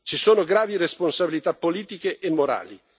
Ci sono gravi responsabilità politiche e morali.